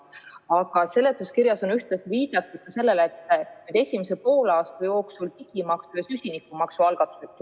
Aga seletuskirjas on viidatud sellele, et esimese poolaasta jooksul tullakse välja digimaksu ja süsinikumaksu algatusega.